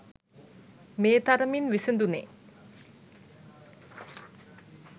මේ තරමින් විසඳුනේ